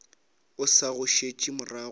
o sa go šetše morago